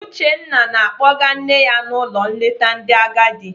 Uchenna na-akpọga nne ya n'ụlọ nleta ndị agadi.